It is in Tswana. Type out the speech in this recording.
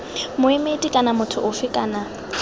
moemedi kana motho ofe kana